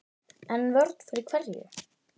En vörn fyrir hverju?